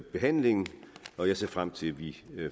behandlingen jeg ser frem til at vi